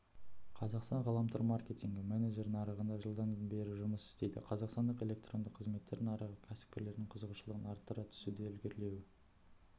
казахстан ғаламтор-маркетингі менджері нарығында жылдан бері жұмыс істейді қазақстандық электронды қызметтер нарығы кәсіпкерлердің қызығушылығын арттыра түсуде ілгерілеу